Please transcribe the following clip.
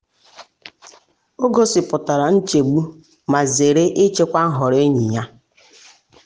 o gosipụtara nchegbu ma zere ịchịkwa nhọrọ enyi ya.